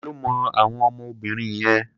Ta ló mọ àwọn ọmọ obìnrin yẹn?